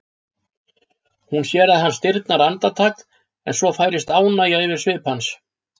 Hún sér að hann stirðnar andartak en svo færist ánægja yfir svip hans.